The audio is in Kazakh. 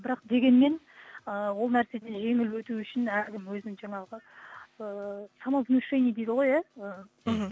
бірақ дегенмен ы ол нәрседен жеңіл өту үшін әркім өзінің жаңағы ыыы самовнушение дейді ғой иә мхм